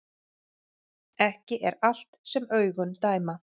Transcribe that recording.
Ekki er allt sem augun dæma